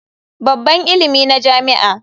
Babban ilimi na jami'a.